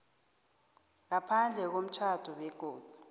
ngaphandle komtjhado begodu